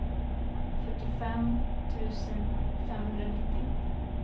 fyrtiofem tusen femhundranittio